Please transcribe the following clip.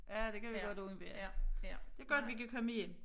Ja det kan vi godt undvære det godt vi kan komme hjem